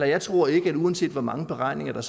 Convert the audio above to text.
jeg tror ikke uanset hvor mange beregninger